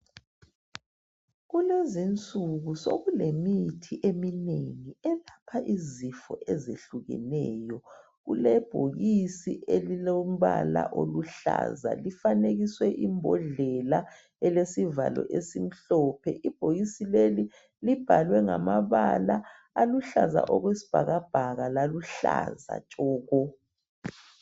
Kulezinsuku sekulemithi eminengi elapha izifo ezehlukeneyo. Kulebhokisi elilombala oluhlaza'Lifanekiswe imbodlela elesivalo omhlophe. Ibhokisi leli libhalwe ngamabala aluhlaza okwesibhakabhaka laluhlaza tshoko.